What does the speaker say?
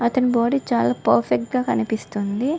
అతని బాడీ చాల పర్ఫెక్ట్ గ కనిపిస్తుంది.